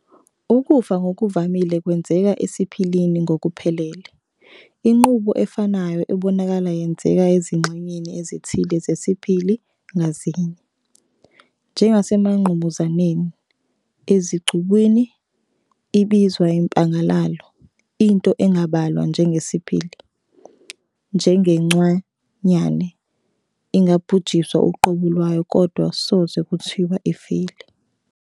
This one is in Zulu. Ukufa ngokuvamile kwenzeka esiPhilini ngokuphelele, inqubo efanayo ebonakala yenzeka ezingxenyeni ezithile zesiphili ngazinye, njengasemangqamuzaneni, ezicubwini, ibizwa impangalalo. Into engabalwa njengesiphili, njengegciwanyane, ingabhujiswa uqobo lwayo kodwa soze kuthiwe ifile.